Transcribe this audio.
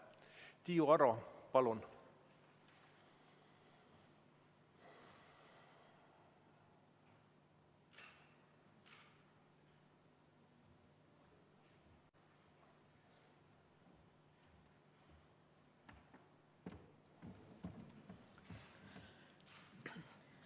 Tiiu Aro, palun!